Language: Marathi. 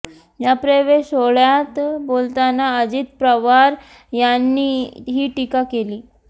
या प्रवेश सोहळ्यात बोलताना अजित पवार यांनी ही टीका केली